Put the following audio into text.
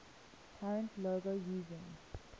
current logo using